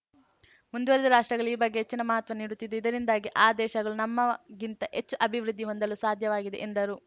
ಮುಂದುವರಿದ ರಾಷ್ಟ್ರಗಳಲ್ಲಿ ಈ ಬಗ್ಗೆ ಹೆಚ್ಚಿನ ಮಹತ್ವವನ್ನು ನೀಡುತ್ತಿದ್ದು ಇದರಿಂದಾಗಿ ಆ ದೇಶಗಳು ನಮ್ಮಗಿಂತ ಹೆಚ್ಚು ಅಭಿವೃದ್ಧಿ ಹೊಂದಲು ಸಾಧ್ಯವಾಗಿದೆ ಎಂದರು